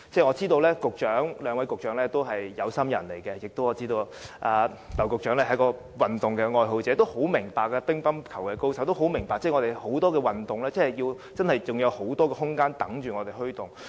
我知道兩位局長皆是有心人，我更知道劉局長是一位運動愛好者，是乒乓球高手，應十分明白多項運動都有很多空間等待我們推動。